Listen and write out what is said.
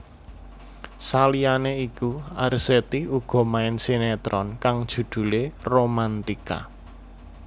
Saliyane iku Arzetti uga main sinetron kang judhulé Romantika